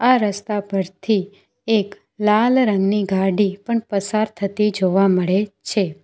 આ રસ્તા પરથી એક લાલ રંગની ગાડી પણ પસાર થતી જોવા મળે છે.